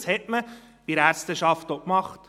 » Das hat man bei der Ärzteschaft auch gemacht.